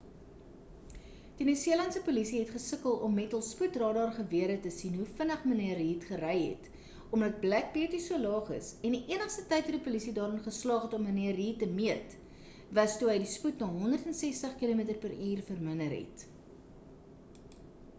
die nieu-seelandse polisie het gesukkel om met hul spoedradar-gewere te sien hoe vinnig mnr reid gery het omdat black beauty so laag is en die enigste tyd wat die polisie daarin geslaag het om mnr reid te meet was toe hy spoed na 160 km/h verminder het